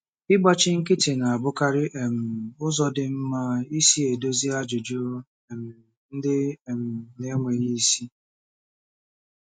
Ịgbachi nkịtị na-abụkarị um ụzọ dị mma isi edozi ajụjụ um ndị um na-enweghị isi.